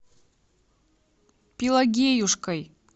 пелагеюшкой